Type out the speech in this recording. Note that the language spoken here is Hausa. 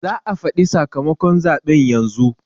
za a faɗi sakamakon zaɓe yanzu